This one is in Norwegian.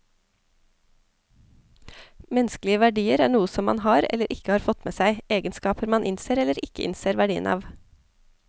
Menneskelige verdier er noe som man har, eller ikke har fått med seg, egenskaper man innser eller ikke innser verdien av.